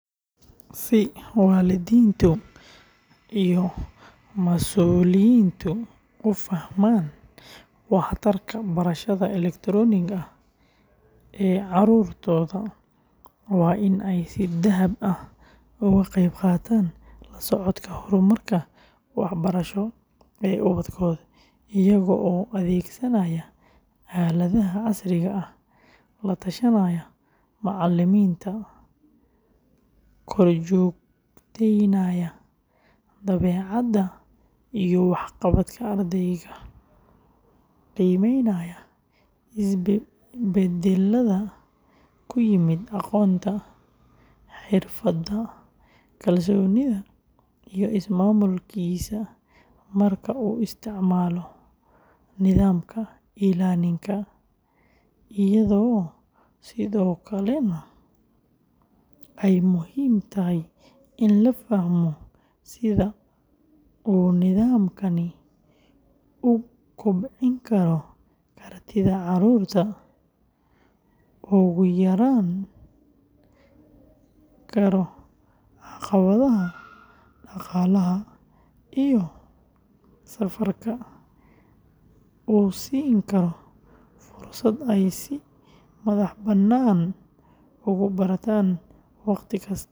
Si waalidiintu iyo mas’uuliyiintu u fahmaan waxtarka barashada elektaroonigga ah ee carruurtooda, waa in ay si dhab ah uga qeybqaataan la socodka horumarka waxbarasho ee ubadkooda iyaga oo adeegsanaya aaladaha casriga ah, la tashanaya macallimiinta, korjoogteynaya dabeecadda iyo waxqabadka ardayga, qiimeynaya isbeddelada ku yimid aqoonta, xirfadda, kalsoonida iyo is-maamulkiisa marka uu isticmaalo nidaamka e-learning-ka, iyadoo sidoo kalena ay muhiim tahay in la fahmo sida uu nidaamkani u kobcin karo kartida carruurta, u yarayn karo caqabadaha dhaqaalaha iyo safarka, u siin karo fursad ay si madaxbannaan ugu bartaan wakhti kasta.